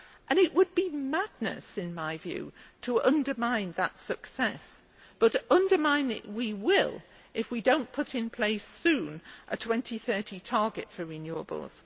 It would be madness, in my view, to undermine that success, but undermine it we will if we do not put in place soon a 2030 target for renewables.